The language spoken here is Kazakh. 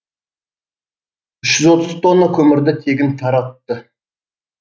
үш жүз отыз тонна көмірді тегін таратты